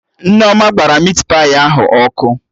Nneoma gbara mit pai ahụ ọkụ